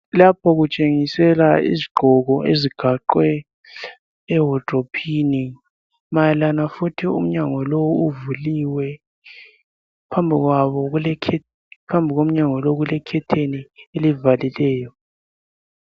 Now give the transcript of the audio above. Lapho kutshengisela izigqoko ezigaxwe ehodrophini. Mayelana futhi umnyango lowu uvuliwe. Phambi komnyango lo, kulekhetheni elivalileyo.